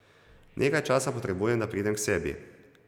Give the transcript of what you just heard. Nekaj časa potrebujem, da pridem k sebi.